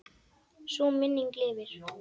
Sú minning lifir.